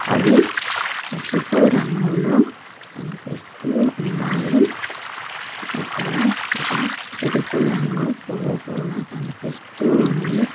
అవి పసుపు రంగులో కనిపిస్తూ ఉన్నాయి అక్కడ ఒక ఎరుపు రంగు పువ్వు కూడా కనిపిస్తూ ఉంది.